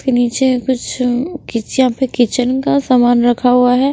के नीचे कुछ किच यहां पे किचन का सामान रखा हुआ है।